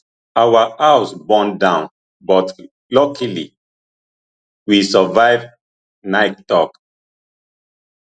our house burn down but luckily we survive naik tok